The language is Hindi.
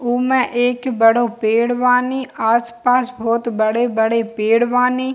उमे एक बड़ो पेड़ बानी आस-पास बहोत बड़े-बड़े पेड़ बानी।